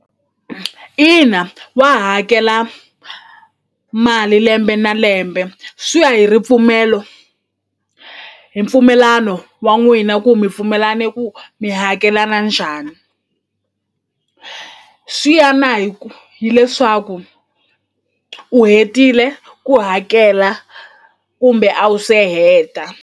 Ina wa hakela mali lembe na lembe swi ya hi ripfumelo hi mpfumelano wa n'wina ku mi pfumelane ku mi hakelana njhani swi ya na hi ku hileswaku u hetile ku hakela kumbe a wu se heta.